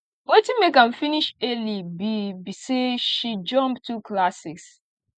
wetin make am finish early be be say she jump two classes